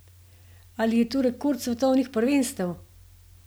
Ali je to rekord svetovnih prvenstev?